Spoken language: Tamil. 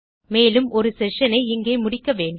மேலும் நம் செஷன் ஐ இங்கே முடிக்க வேண்டும்